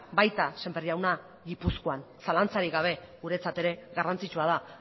baita sémper jauna gipuzkoan zalantzarik gabe guretzat ere garrantzitsua da